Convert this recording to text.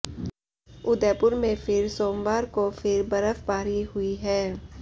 उदयपुर में फिर सोमवार को फिर बर्फबारी हुई है